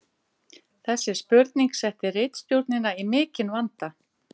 Þessi spurning setti ritstjórnina í mikinn vanda.